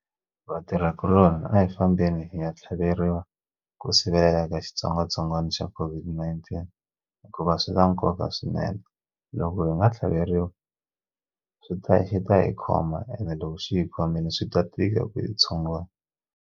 Vatirhikuloni a hi fambeni hi nga tlhaveriwa ku sivelela ka xitsongwatsongwana xa COVID-19 hikuva swi na nkoka swinene loko hi nga tlhaveteriwi swi ta xi ta hi khoma ene loko xi hi khomile swi ta tika ku byi tshungula.